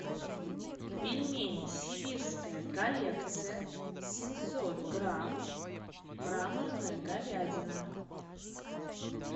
пельмени сибирская коллекция семьсот грамм мраморная говядина